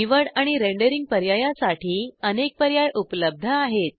निवड आणि रेंडरींग पर्यायासाठी अनेक पर्याय उपलब्ध आहेत